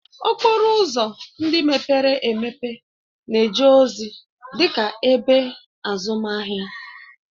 Okporo ụzọ ndị mepere emepe na-eje ozi dị ka ebe azụmahịa